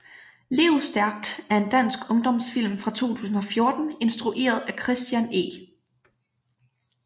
Lev Stærkt er en dansk ungdomsfilm fra 2014 instrueret af Christian E